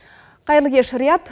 қайырлы кеш риат